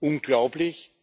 Unglaublich!